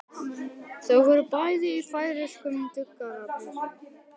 Þau voru bæði í færeyskum duggarapeysum.